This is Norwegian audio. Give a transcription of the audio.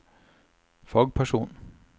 fagperson